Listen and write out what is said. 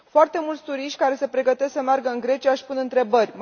Foarte mulți turiști care se pregătesc să meargă în Grecia își pun întrebări.